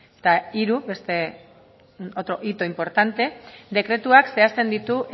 eta hiru otro hito importante dekretuak zehazten ditu